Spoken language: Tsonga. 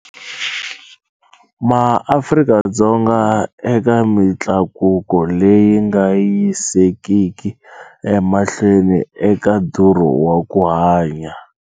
MaAfika-Dzonga eka mitlakuko leyi nga yisekiki emahlweni eka ndhurho wa ku hanya.